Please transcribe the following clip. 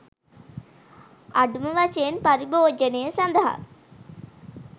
අඩු ම වශයෙන් පරිභෝජනය සඳහා